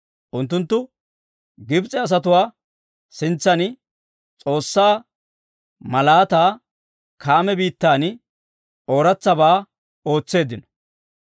Unttunttu Gibs'e asatuwaa sintsan S'oossaa malaataa, Kaame biittan ooratsabaa ootseeddino.